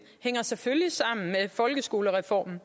hænger selvfølgelig sammen med folkeskolereformen